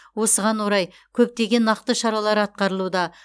осыған орай көптеген нақты шаралар атқарылуда